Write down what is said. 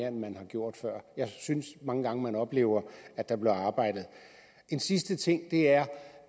end man har gjort før jeg synes mange gange at man oplever at der bliver arbejdet en sidste ting er